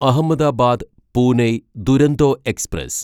Ahmedabad Pune Duronto express